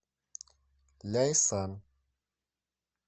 ляйсан